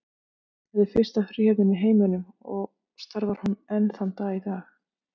Þetta er fyrsta fríhöfnin í heiminum og starfar hún enn þann dag í dag.